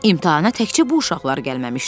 İmtahana təkcə bu uşaqlar gəlməmişdi.